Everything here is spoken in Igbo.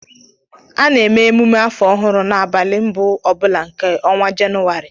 A na-èmé émumé afọ ọhụrụ n'abalị mbụ obula nke ọnwa Jenụwarị